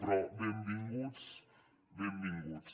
però benvinguts benvinguts